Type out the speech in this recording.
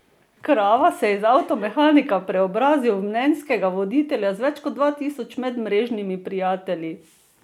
Krava se je iz avtomehanika preobrazil v mnenjskega voditelja z več kot dva tisoč medmrežnimi prijatelji.